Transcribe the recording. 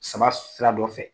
Saba sira dɔ fɛ.